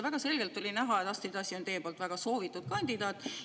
Väga selgelt oli näha, et Astrid Asi on teie poolt väga soovitud kandidaat.